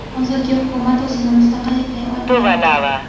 Hozirgi hukumat o‘zini mustaqil eplay olmayapti.